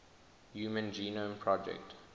human genome project